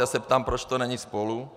Já se ptám, proč to není společně.